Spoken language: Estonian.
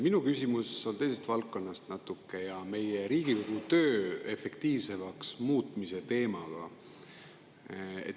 Minu küsimus on natuke teisest valdkonnast ja seotud meie Riigikogu töö efektiivsemaks muutmise teemaga.